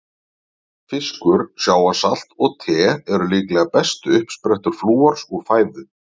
Fiskur, sjávarsalt og te eru líklega bestu uppsprettur flúors úr fæðu.